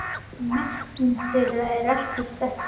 Merking þeirra er ekki þekkt.